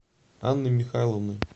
анной михайловной